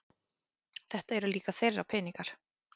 Þetta eru líka þeirra peningar